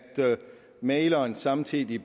mægleren samtidig